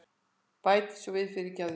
Bæti svo við, fyrirgefðu.